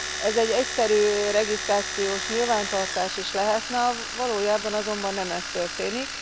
Ez egy egyszerű regisztrációs nyilvántartás is lehetne, valójában azonban nem ez történik.